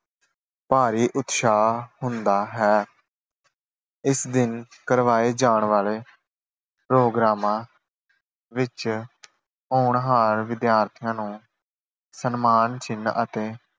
ਭਾਰੀ ਉਤਸ਼ਾਹ ਹੁੰਦਾ ਹੈ। ਇਸ ਦਿਨ ਕਰਵਾਏ ਜਾਣ ਵਾਲੇ ਪ੍ਰੋਗਰਾਮਾਂ ਵਿੱਚ ਹੋਣਹਾਰ ਵਿਦਿਆਰਥੀਆਂ ਨੂੰ ਸਨਮਾਨ ਚਿੰਨ੍ਹ ਅਤੇ